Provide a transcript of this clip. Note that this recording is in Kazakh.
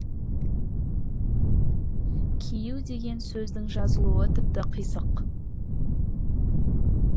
кию деген сөздің жазылуы тіпті қисық